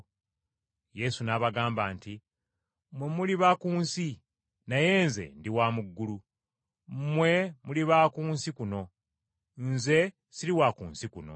Yesu n’abagamba nti, “Mmwe muli ba ku nsi, naye Nze ndi wa mu ggulu. Mmwe muli ba ku nsi kuno, Nze siri wa ku nsi kuno.